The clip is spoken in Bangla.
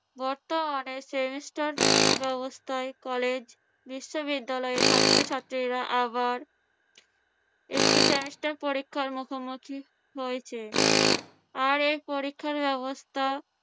বর্তমানে semester ব্যবস্থায় কলেজ-বিশ্ববিদ্যালয়ে ছাত্রছাত্রীরা আবার একটি semester পরীক্ষার মুখোমুখি হয়েছে। আর এই পরীক্ষার ব্যবস্থা